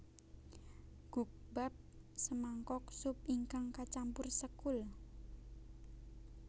Gukbap semangkok sup ingkang kacampur sekul